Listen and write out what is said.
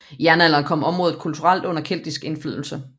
I jernalderen kom området kulturelt under keltisk indflydelse